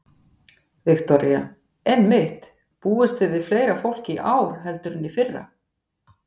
Viktoría: Einmitt, búist þið við fleira fólki í ár heldur en í fyrra?